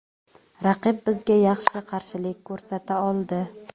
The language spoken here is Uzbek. Raqib bizga yaxshi qarshilik ko‘rsata oldi.